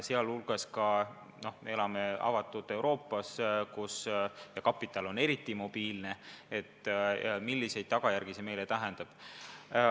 Me elame avatud Euroopas, kus kapital on eriti mobiilne, ja me peame mõtlema, milliseid tagajärgi see meile tähendab.